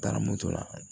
Taara moto la